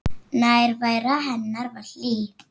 Nærvera hennar var hlý.